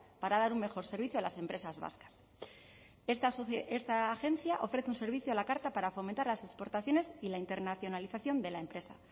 para dar un mejor servicio a las empresas vascas esta agencia ofrece un servicio a la carta para fomentar las exportaciones y la internacionalización de la empresa